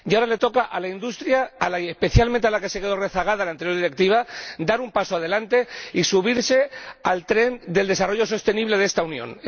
Ahora le toca a la industria —especialmente a la que se quedó rezagada en la anterior Directiva— dar un paso adelante y subirse al tren del desarrollo sostenible de esta Unión.